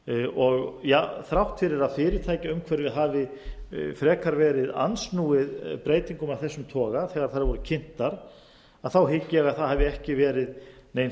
og þrátt fyrir að fyrirtækjaumhverfi hafi frekar verið andsnúið breytingum af þessum toga þegar þær voru kynntar þá hygg ég að það hafi ekki verið nein